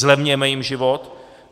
Zlevněme jim život.